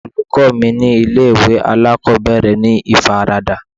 Àwọn olùkọ́ mi ni ilé ìwé alákòbẹ̀rẹ̀ ní ìfaradà.